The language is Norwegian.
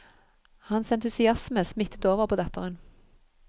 Hans entusiasme smittet over på datteren.